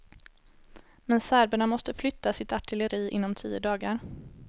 Men serberna måste flytta sitt artilleri inom tio dagar.